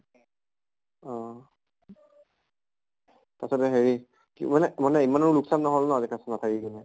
অহ তাছতে হেৰি কি মানে মানে ইমানো লোক্চান নহল ন আজি class ত নাথাকি কিনে?